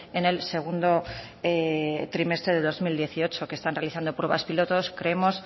en el segundo trimestre del dos mil dieciocho que están realizando pruebas pilotos creemos